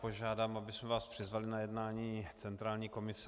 Požádám, abychom vás přizvali na jednání centrální komise.